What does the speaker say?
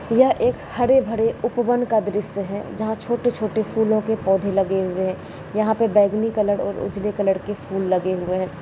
यह एक हरे-भरे उपवन का दृश्य है जहाँ छोटे-छोटे फूलो के पौधे लगे हुए हैं यहाँ बैंगनी और उजले कलर के फूल लगे हुए हैं।